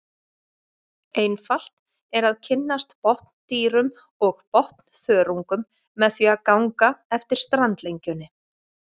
Einfalt er að kynnast botndýrum og botnþörungum með því að ganga eftir strandlengjunni.